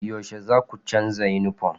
Yaushe zaku canza yunifom?